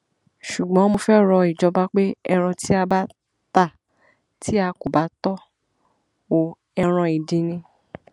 ṣùgbọn mo fẹẹ rọ ìjọba pé ẹran tí a bá ta tí a kò bá tọ ọ ẹran ìdin ni